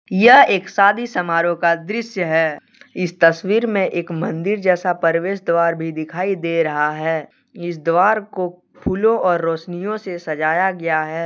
यह एक शादी समारोह का दृश्य है। इस तस्वीर मे एक मंदिर जैसा परवेश द्वार भी दिखाई दे रहा है। इस द्वार को फूलो और रोशनियो से सजाया गया है।